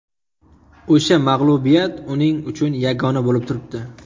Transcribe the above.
O‘sha mag‘lubiyat uning uchun yagona bo‘lib turibdi.